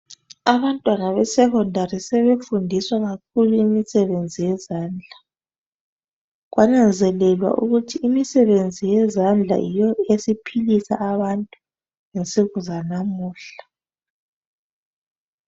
Abantwana besekhondari sebefundiswa kakhilu imisebenzi yezandla. Kwananzelelwa ukuthi imisebenzi yezandla yiyo esiphilisa abantu ngensuku zanamuhla.